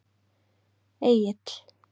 Egill